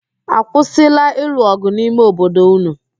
A kwụsịịla ịlụ ọgụ n'ime obodo ụnụ?